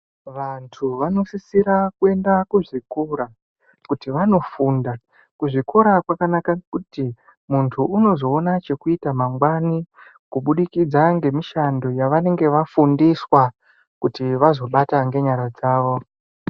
Vantu vanosisira kuenda kuzvikora kuti vanofunda kuzvikora kwakanaka kuti muntu unozoona chekuita mangwani kubudikidza nemushando yavanenge vafundiswa kuti vazobata nenyara dzavo.